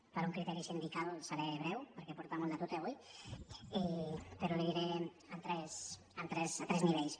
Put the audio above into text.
per un criteri sindical seré breu perquè porta molt de tute avui però li ho diré a tres nivells